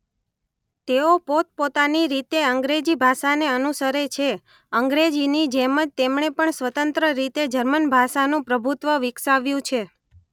તેઓ પોતપોતાની રીતે અંગ્રેજી ભાષાને અનુસરે છે.અંગ્રેજીની જેમ જ તેમણે પણ સ્વતંત્ર રીતે જર્મન ભાષાનું પ્રભુત્વ વિકસાવ્યું છે.